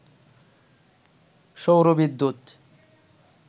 সৌর বিদ্যুৎ